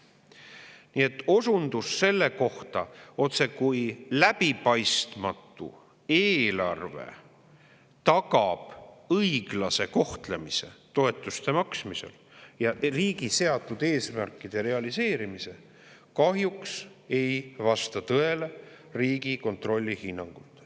" Nii et osundus selle kohta, otsekui läbipaistmatu eelarve tagaks õiglase kohtlemise toetuste maksmisel ja riigi seatud eesmärkide realiseerimise, kahjuks ei vasta – Riigikontrolli hinnangul – tõele.